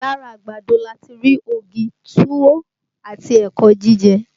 Lára àgbàdo lati rí ògì, túwó àti ẹ̀kọ́ jíjẹ